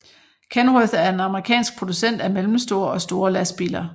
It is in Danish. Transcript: Kenworth er en amerikansk producent af mellemstore og store lastbiler